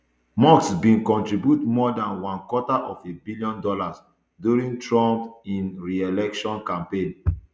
musk bin contribute more than one quarter of a billion dollars during trump im ereelection campaign